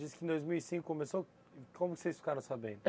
Você disse que em dois mil e cinco começou... Como vocês ficaram sabendo?